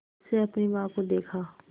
से अपनी माँ को देखा